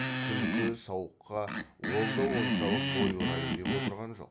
күлкі сауыққа ол да оншалық бой ұрайын деп отырған жоқ